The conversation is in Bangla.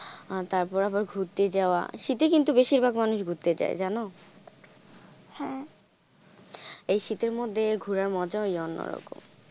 আহ তারপর আবার ঘুরতে যাওয়া, শীতে কিন্তু বেশিরভাগ মানুষ ঘুরতে যায় জানো? এই শীতের মধ্যে ঘোরার মজায় অন্যরকম।